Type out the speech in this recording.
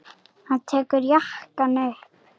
Hann tekur jakkann upp.